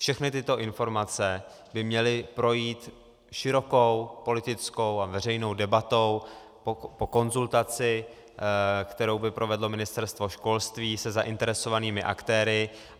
Všechny tyto informace by měly projít širokou politickou a veřejnou debatou po konzultaci, kterou by provedlo Ministerstvo školství se zainteresovanými aktéry.